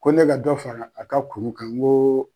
Ko ne ka dɔ fara a ka kuru kan n ko